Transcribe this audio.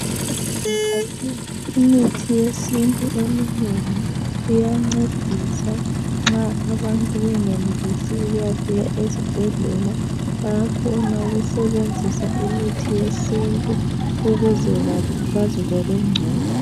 Imithi yesintu eminengi iyancedisa nxa abantu bengenelisi ukuyafika esibhedlela bayakhona ukusebenzisa imithi yesintu ukuze ba bazizwe bengcono.